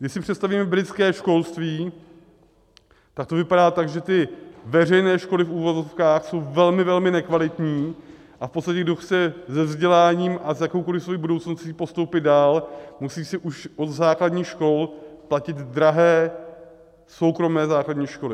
Když si představíme britské školství, tak to vypadá tak, že ty veřejné školy v uvozovkách, jsou velmi, velmi nekvalitní a v podstatě kdo chce se vzděláním a s jakoukoliv svou budoucností postoupit dál, musí si už od základních škol platit drahé soukromé základní školy.